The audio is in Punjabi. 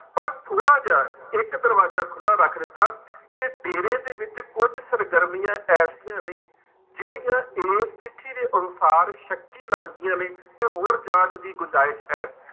ਪਰ ਥੋੜ੍ਹਾ ਜਿਹਾ ਇੱਕ ਦਰਵਾਜ਼ਾ ਖੁੱਲਾ ਰੱਖ ਦਿੱਤਾ ਕਿ ਡੇਰੇ ਦੇ ਵਿੱਚ ਕੁੱਝ ਸਰਗਰਮੀਆਂ ਐਸੀਆਂ ਨੇ ਜਿਹੜੀਆਂ ਇਸ ਚਿੱਠੀ ਦੇ ਅਨੁਸਾਰ ਸੱਕੀ ਲੱਗਦੀਆਂ ਨੇ ਤੇ ਹੋਰ ਜਾਂਚ ਦੀ ਗੁੰਜਾਇਸ਼ ਹੈ।